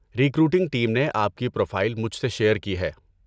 Recruiting team نے آپ کی پروفائل مجھے سے شیئر کی ہے۔